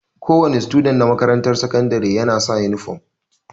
Kowa ne student na makarantar sakandire ya na sa inifam